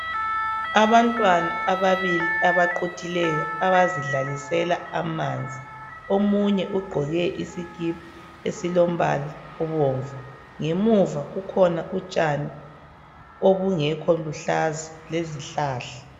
Abantwana ababili abaqhuthileyo abazidlalisela amanzi, omunye uqoke isikipha esilombala obomvu. Ngemuva kukhona utshani obungekho luhlaza lezihlahla.